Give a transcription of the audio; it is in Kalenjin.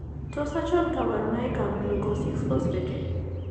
Tos achon kabarunaik ab glucose 6 phosphate ?